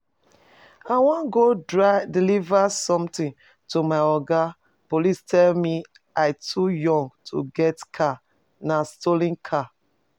I wan go deliver something to my Oga police tell me i too young to get car nah stolen car